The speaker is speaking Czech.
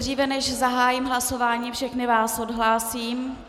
Dříve než zahájím hlasování, všechny vás odhlásím.